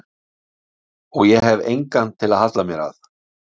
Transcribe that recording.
Og ég hef engan til að halla mér að.